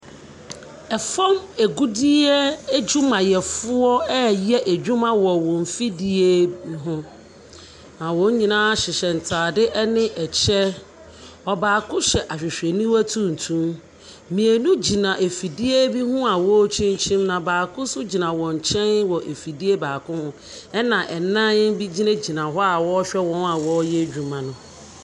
Fam agudeɛ adwumayɛfoɔ reyɛ adwuma wɔ wɔn mfidie ho, na wɔn nyinaa hyehyɛ ntadeɛ ne ɛky. Ɔbaako hyɛ ahwehwɛniwa tuntum. Mmienu gyina afidie bi ho a wɔrekyinkyim, na baako nso gyina wɔn nkyɛn wɔ afidie baako ho, ɛna nna bi gyinagyina hɔ a wɔrehwɛ wɔn a wɔreyɛ adwuma no.